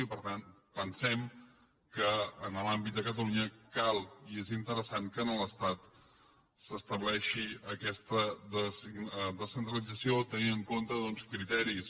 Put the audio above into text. i per tant pensem que en l’àmbit de catalunya cal i és interessant que a l’estat s’estableixi aquesta descentralització tenint en compte doncs criteris